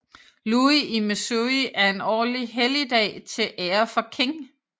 Louis i Missouri en årlig helligdag til ære for King